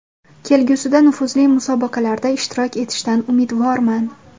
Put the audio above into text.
Kelgusida nufuzli musobaqalarda ishtirok etishdan umidvorman.